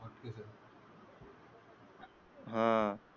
हा.